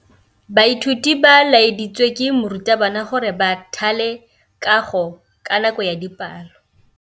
Baithuti ba laeditswe ke morutabana gore ba thale kagô ka nako ya dipalô.